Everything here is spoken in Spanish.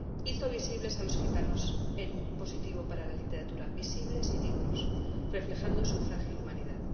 Hizo visibles a los gitanos en positivo para la literatura, visibles y dignos, reflejando su frágil humanidad.